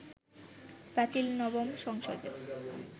বাতিল নবম সংসদে